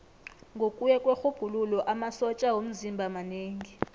ngokuya kwerhubhululo amasotja womzimba manengi